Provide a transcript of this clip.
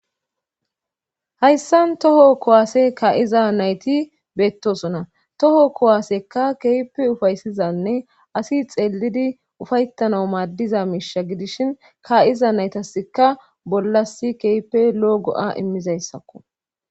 Haysa toho kuwase ka'iza nayti betosona toho kuwaseka kehippe ufaysizanne asi xelidi ufayetana madiza misha gidishin ka'iza naytasika bollas kehippe lo'o go'a imizaysako